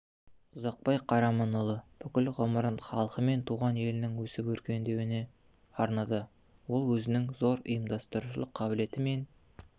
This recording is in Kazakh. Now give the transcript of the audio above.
ұзақбай қараманұлы бүкіл ғұмырын халқы мен туған елінің өсіп-өркендеуіне арнады ол өзінің зор ұйымдастырушылық қабілеті мен